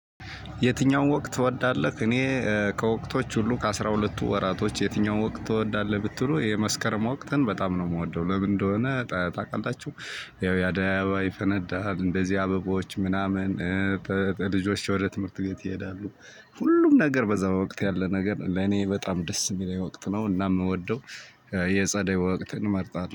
የትኛውም ወቅት ትወዳለህ እኔ ከወቅቶች ሁሉ ከአስራ ሁለቱ ወራቶች የትኛውም ወቅት ትወዳለህ? ብትሉ የመስከረም ወቅተን በጣም ነው የምወደው እንደሆነ ታውቃላችሁ ያው አደያ አበባ ይፈነዳል እንደዚህ አበባዎች ምናምን። ልጆች ወደ ትምህርት ቤት ይሄዳሉ። ሁሉም ነገር በዛ ወቅት ያለ ነገር ለኔ በጣም ደስ የሚለኝ ወቅት ነው እና የምወደው። የጸደይ ወቅትን እመርጣለሁ